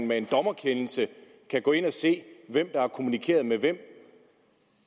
med en dommerkendelse at gå ind og se hvem der har kommunikeret med hvem